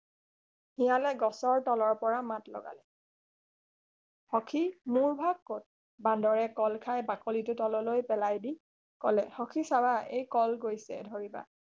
শিয়ালে গছৰ তলতৰ পৰা মাত লগালে সখী মোৰ ভাগ কত বান্দৰে কল খাই বাকলিটো তললৈ পেলাই দি সখী চাব এই কল গৈছে ধৰিবা